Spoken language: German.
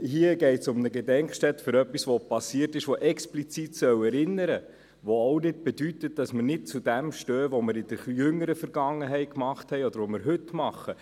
Hier geht es um eine Gedenkstätte für etwas, das passiert ist, an das explizit erinnert werden soll, was auch nicht bedeutet, dass wir nicht zu dem stehen, das wir in der jüngeren Vergangenheit getan haben oder was wir heute tun.